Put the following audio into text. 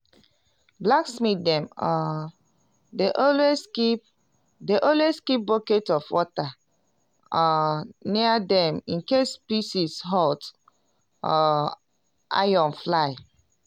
blacksmith dem um dey always keep dey always keep bucket of water um near dem incase pieces hot um iron fly.